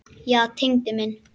Já, Tengdi minn.